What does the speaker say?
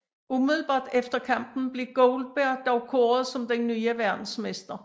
Umiddelbart efter kampen blev Goldberg dog kåret som den nye verdensmester